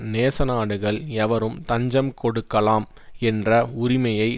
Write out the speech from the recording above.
நேச நாடுகள் எவருக்கு தஞ்சம் கொடுக்கலாம் என்ற உரிமையை